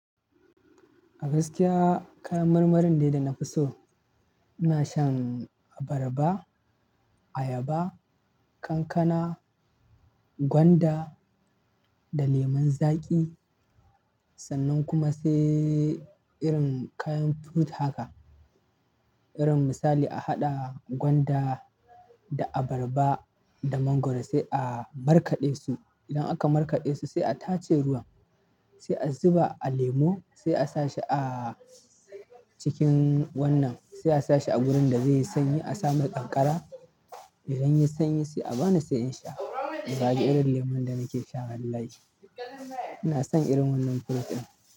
A gaskiya kayan marmarin dai da nafi so. Ina shan abarba, ayaba, kankana, gwanda da lemun zaƙi sannan kuma sai irin kayan fruit haka, irin misali a haɗa gwanda da abarba da mangwaro sai a markaɗe su. Idan aka markaɗe su sai a tace ruwan, sai a zuba a lemo, sai a sa shi a cikin wannan, sai a sa shi a wurin da zai yi sanyi, a sa masa kankara. Idan ya yi sanyi sai a bani sai in sha na zaɓi irin lemon da nake sha wallahi. Ina son irin wannan fruit ɗin.